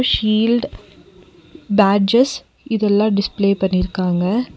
Shield badges இதெல்லா display பண்ணிருக்காங்க.